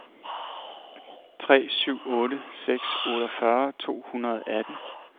tre syv otte seks otteogfyrre to hundrede og atten